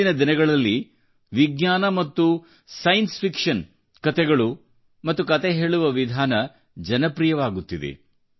ಇಂದಿನ ದಿನಗಳಲ್ಲಿ ವಿಜ್ಞಾನ Scienceಮತ್ತು ವೈ ಜ್ಞಾನಿಕ ಕಲ್ಪನೆಯ ಸೈನ್ಸ್ ಫಿಕ್ಷನ್ ಕತೆಗಳು ಮತ್ತು ಕತೆ ಹೇಳುವ ವಿಧಾನ ಜನಪ್ರಿಯವಾಗುತ್ತಿದೆ